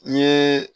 N ye